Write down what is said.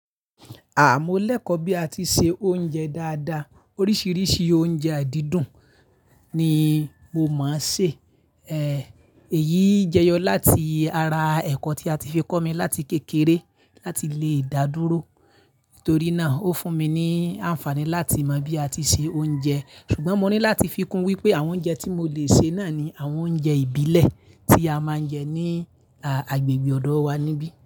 Àh! Mo lẹ́kọ̀ọ́ bí a tí ṣe oúnjẹ dáadáa, oríṣiríṣi oúnjẹ ai dídùn ni mo mọń sè, èyí jẹyọ láti ara ẹ̀kọ́ tí a ti fi kọ́ mi láti kékeré láti lè dá dúró. Nítorí náà, ó fún mi ní àǹfààní láti mọ bí a tí ṣe oúnjẹ. Ṣùgbọ́n mo ní láti fi kún wípé àwọn oúnjẹ tí mo lè ṣe náà ni àwọn oúnjẹ ìbílẹ̀ tí a máa ń jẹ ní, a agbègbè ọ̀dọ̀ wa níbí.